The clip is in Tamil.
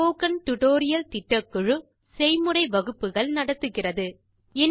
ஸ்போக்கன் டியூட்டோரியல் திட்டக்குழு செய்முறை வகுப்புகள் நடத்துகிறது